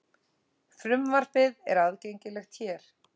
Frumvarpið er aðgengilegt hér